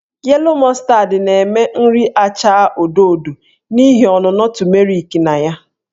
Yellow Mustard na-eme nri achaa odo odo n'ihi ọnụnọ tumeriki na ya.